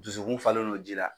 Dusukun falen no ji la.